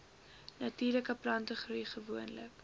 natuurlike plantegroei gewoonlik